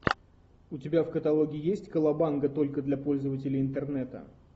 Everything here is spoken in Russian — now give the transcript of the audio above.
у тебя в каталоге есть колобанга только для пользователей интернета